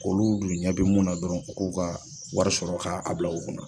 Olu dun ɲɛ bi mun na dɔrɔn u k'u ka wari sɔrɔ k'a bil'u kunna.